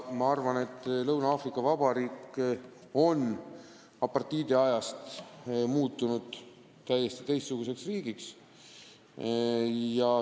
Ma arvan, et Lõuna-Aafrika Vabariik on pärast apartheidiaega muutunud täiesti teistsuguseks riigiks.